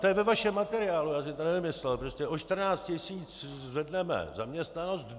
To je ve vašem materiálu, já si to nevymyslel, prostě o 14 tisíc zvedneme zaměstnanost.